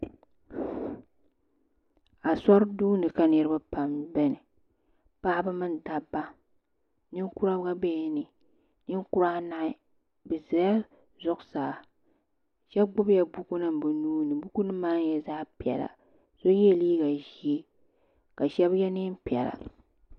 Asori duuni ka niriba pam biɛni paɣaba mini dabba ninkura gba biɛla ni ninkura anahi bɛ zala zuɣusaa sheba gbibila bukunima ni nuuni bukunima maa nyɛla zaɣa piɛla so yela liiga ʒee ka sheba ye niɛn'piɛla.